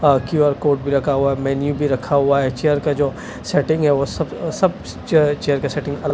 Q R code भी रखा हुआ है मेन्यू भी रखा हुआ है चेयर का जो सेटिंग है वो सब सब चेयर के सेटिंग --